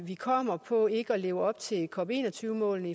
vi kommer på ikke at leve op til cop21 målene